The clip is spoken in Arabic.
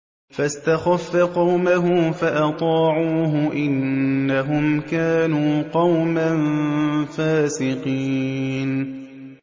فَاسْتَخَفَّ قَوْمَهُ فَأَطَاعُوهُ ۚ إِنَّهُمْ كَانُوا قَوْمًا فَاسِقِينَ